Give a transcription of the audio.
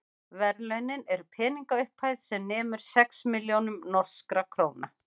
verðlaunin eru peningaupphæð sem nemur sex milljónum norskra króna